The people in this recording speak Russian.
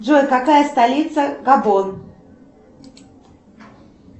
джой какая столица габон